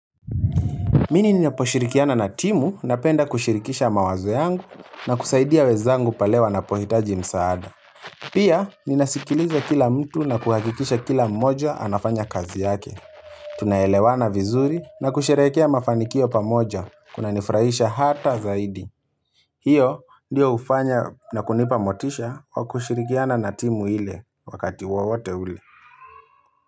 Mimi ninaposhirikiana na timu na penda kushirikisha mawazo yangu na kusaidia wenzangu pale wanapohitaji msaada. Pia ninasikiliza kila mtu na kuhakikisha kila mmoja anafanya kazi yake. Tunaelewana vizuri na kusherehekea mafanikio pamoja kuna nifurahisha hata zaidi. Hiyo ndiyo hufanya na kunipa motisha kwa kushirikiana na timu ile wakati wowote ule.